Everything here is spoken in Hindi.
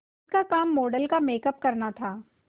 उसका काम मॉडल का मेकअप करना था